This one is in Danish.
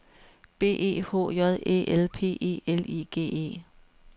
B E H J Æ L P E L I G E